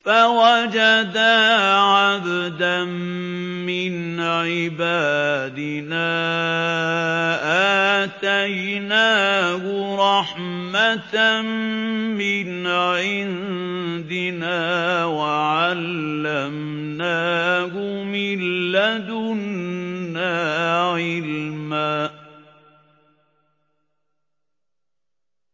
فَوَجَدَا عَبْدًا مِّنْ عِبَادِنَا آتَيْنَاهُ رَحْمَةً مِّنْ عِندِنَا وَعَلَّمْنَاهُ مِن لَّدُنَّا عِلْمًا